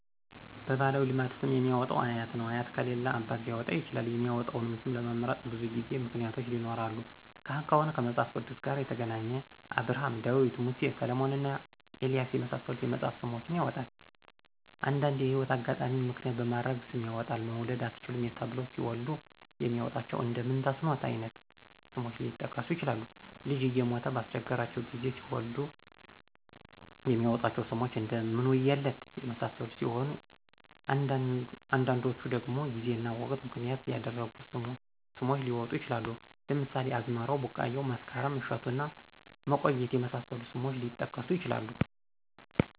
በባህላዊ ልማድ ስም የሚያወጣው አያት ነው አያት ከሌለ አባት ሊያወጣ ይችላል የሚመጣውን ስም ለመምረጥ ግን ብዙ ምክንያቶች ይኖራሉ ካህን ከሆነ ከመጽሐፍ ቅዱስ ጋር የተገናኘ አብርሀም :ዳዊት :ሙሴ: ሰለሞንና ኤልያስ የመሳሰሉትን የመጽሐፍ ስሞችን ያወጣል። አንዱንዲ የህይወት አጋጣሚን ምክንያት በማድረግ ስም ያወጣል መውለድ አትችሉም ተብለው ሲወልዱ የሚያወጧቸው እንደ ምንተስኖት አይነት ስሞች ሊጠቀሱ ይችላሉ። ልጅ እየሞተ ባስቸገራቸው ጊዜ ሲወልዱ የሚያወጧቸው ስሞች እደ ምንውየለት የመሳሰሉት ሲሆኑ አንዳንዶቹ ደግሞ ጊዜና ወቅትን ምክንያት ያደረጉ ስሞች ሊወጡ ይችላሉ ለምሳሌ አዝመራው :ቢቃያው :መስከረም :እሸቱና መቆየት የመሳሰሉት ስሞች ሊጠቀሱ ይችላሉ።